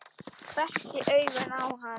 Hvessti augun á hann.